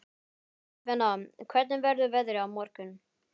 Stefana, hvernig verður veðrið á morgun?